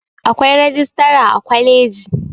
Akwai rijistara a kwaliji